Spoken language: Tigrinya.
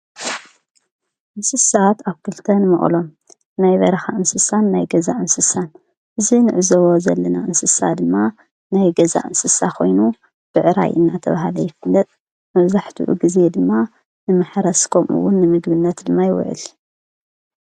እንስሳት ኣብ ክልተን ንቕሎም ናይ በራኻ እንስሳን ናይ ገዛ እንስሳን እዝ ንዕዘብ ዘለና እንስሳ ድማ ናይ ገዛ እንስሳ ኾይኑ ብዕራይ እናተብሃለ ይፍለጥ መዛሕቲኡ ጊዜ ድማ ንምኅረስ ከምኡውን ምግብነት ድማ ይውዕል::